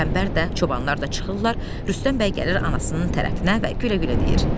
Qəmbər də, çobanlar da çıxırlar, Rüstəm bəy gəlir anasının tərəfinə və gülə-gülə deyir.